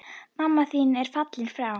Mamma mín er fallin frá.